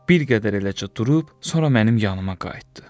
Bir qədər eləcə durub, sonra mənim yanıma qayıtdı.